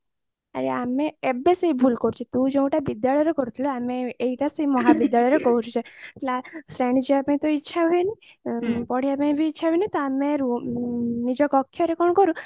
ଆରେ ଆମେ ଏବେ ସେଇ ଭୁଲ କରୁଛୁ ତୁ ଯୋଉଟା ବିଦ୍ୟାଳୟରେ କରିଥିଲୁ ଆମେ ଏଇଟା ସେଇ ମହାବିଦ୍ୟାଳୟରେ କରୁଛୁ ଯେ ଶ୍ରେଣୀ ଯିବାପାଇ ତ ଇଚ୍ଛା ହଉନି ପଢିବାପାଇ ବି ଇଚ୍ଛା ହଉନି ତ ଆମେ ନିଜ କକ୍ଷ୍ୟରେ କଣ କରୁ